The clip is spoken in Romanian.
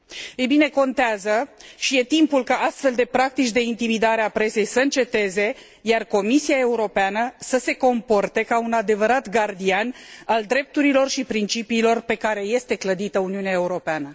Ei bine, contează și e timpul ca astfel de practici de intimidare a presei să înceteze, iar Comisia Europeană să se comporte ca un adevărat gardian al drepturilor și principiilor pe care este clădită Uniunea Europeană.